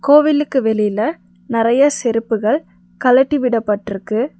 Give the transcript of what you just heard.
கோவிலுக்கு வெளியில நெறைய செருப்புகள் கழட்டி விடப்பட்டுருக்கு.